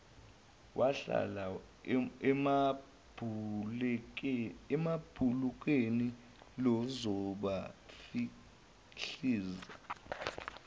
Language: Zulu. wahlala emabhulekini lizobafihliza